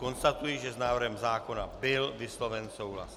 Konstatuji, že s návrhem zákona byl vysloven souhlas.